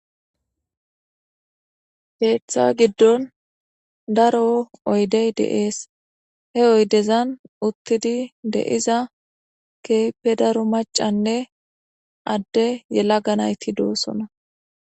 Keeththa giddon daro oydey deees he oydezan uttidi de7iza keepe daro macanne adde yela ganayti doossona